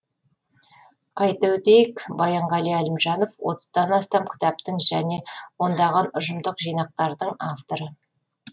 айта өтейік баянғали әлімжанов отыздан астам кітаптың және ондаған ұжымдық жинақтардың авторы